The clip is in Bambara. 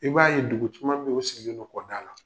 I b'a ye dugu caman bɛ yen, o sigilen do kɔ da la.